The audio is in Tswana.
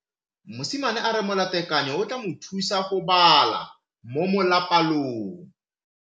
Mosimane a re molatekanyo o tla mo thusa go bala mo molapalong.